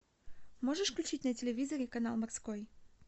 можешь включить на телевизоре канал морской